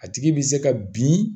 A tigi bi se ka bin